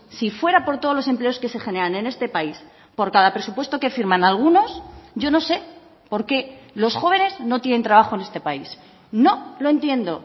si fuera por todos los empleos que se generan en este país por cada presupuesto que firman algunos yo no sé por qué los jóvenes no tienen trabajo en este país no lo entiendo